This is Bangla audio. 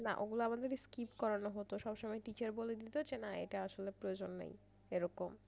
অগুলা আমাদের skip করান হতো সবসময় teacher বলে দিত যে না এইটা আসলে প্রয়োজন নেই এরকম।